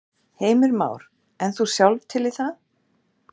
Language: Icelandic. Heimir Már: En þú sjálf til í það?